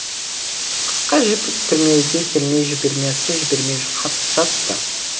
қысқа жіп күрмеуге келмей жібермесі жібермей жатты